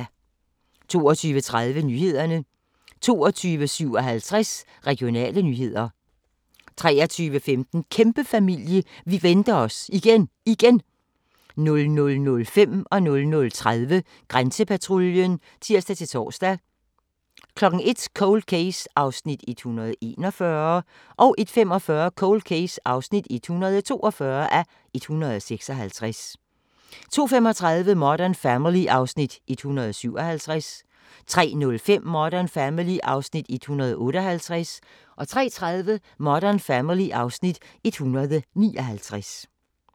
22:30: Nyhederne 22:57: Regionale nyheder 23:15: Kæmpefamilie – vi venter os igen, igen! 00:05: Grænsepatruljen (tir-tor) 00:30: Grænsepatruljen (tir-tor) 01:00: Cold Case (141:156) 01:45: Cold Case (142:156) 02:35: Modern Family (Afs. 157) 03:05: Modern Family (Afs. 158) 03:30: Modern Family (Afs. 159)